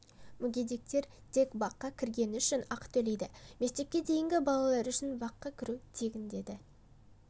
мүгедектер тек баққа кіргені үшін ақы төлейді мектепке дейінгі балалар үшін баққа кіру тегін деді